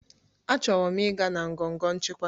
Achọrọ m ịga na ngọngọ nchịkwa